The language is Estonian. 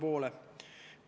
Selge.